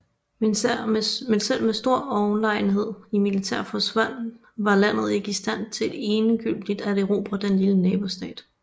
Men selv med stor overlegenhed i militær forstand var landet ikke i stand til endegyldigt at erobre den lille nabostat